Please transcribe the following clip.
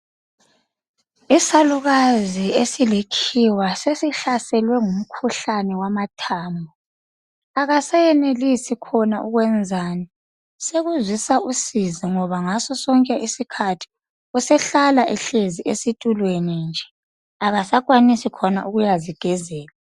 Isalukazi esilikhiwa sesihlaselwe ngumkhuhlane wamathambo akasayenelisi loba ukwenzani sokuzwisa usizi ngoba ngaso sonke iskhathi sehlala ehlezi esitulweni nje akasakwanisi ukuyazigezela